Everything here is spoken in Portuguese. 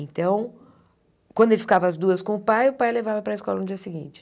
Então, quando ele ficava às duas com o pai, o pai levava para a escola no dia seguinte.